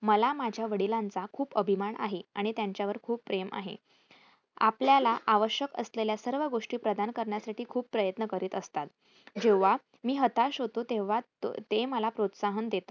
मला माझ्या वडिलांचा खूप अभिमान आहे आणि त्यांच्यावर खूप प्रेम आहे. आपल्याला आवश्यक असलेल्या सर्व गोष्टी प्रदान करण्यासाठी खूप प्रयत्न करित असतात. जेव्हा मी हताश होतो तेव्हा ते मला प्रोत्साहन देतात.